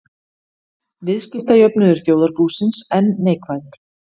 Viðskiptajöfnuður þjóðarbúsins enn neikvæður